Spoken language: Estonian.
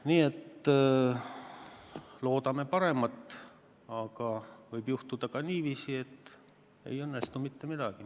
Nii et loodame paremat, aga võib juhtuda ka niiviisi, et ei õnnestu mitte midagi.